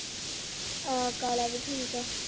ਹਾਂ ਕਾਲਾ ਵੀ ਠੀਕ ਆ